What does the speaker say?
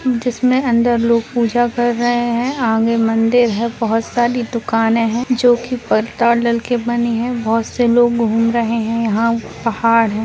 जिसमें अंदर लोग पूजा कर रहें हैं आगे मंदिर है बहुत सारी दुकानें हैं जो की डालकर बनी है बहुत से लोग घूम रहें हैं यहाँ पहाड़ है।